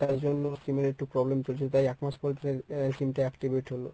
তাই জন্য sim এ একটু problem চলছিল তাই এক মাস পর এ sim টা activate হল।